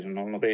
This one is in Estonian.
Aitäh!